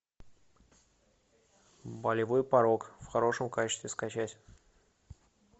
болевой порог в хорошем качестве скачать